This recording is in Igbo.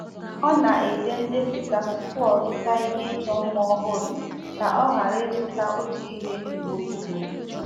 Ọ na-ede ndepụta tupu o zụta ihe ịchọ mma ọhụrụ ka ọ ghara ịzụta otu ihe ugboro ugboro.